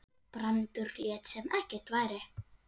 Brandur lét sem ekkert væri.